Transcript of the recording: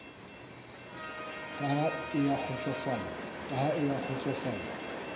ka ha e a kgotsosofala